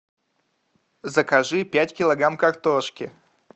закажи пять килограмм картошки